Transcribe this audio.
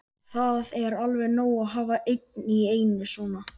Það er alveg nóg að hafa einn í einu svona.